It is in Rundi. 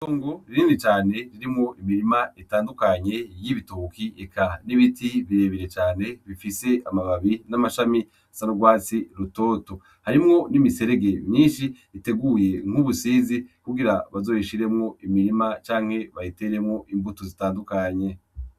Itongo rinini cane ririmwo imirima itandukanye y'ibitoke eka n'ibiti birebire cane bifise amababi n'amashami asa n'urwatsi rutoto harimwo n'imiserege myinshi iteguye mw'ubusizi kugira bazoyishiremwo imirima canke bayiteremwo imbuto zitandukanye.